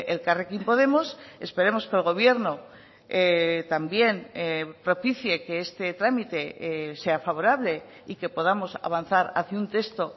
elkarrekin podemos esperemos que el gobierno también propicie que este trámite sea favorable y que podamos avanzar hacia un texto